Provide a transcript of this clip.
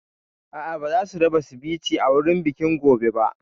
A'a ba zasu raba Sivice a wurin bikin gobe ba